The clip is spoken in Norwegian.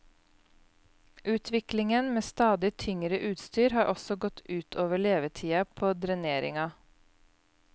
Utviklingen med stadig tyngre utstyr, har også gått ut over levetida på dreneringa.